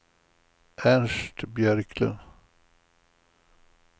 Ernst Björklund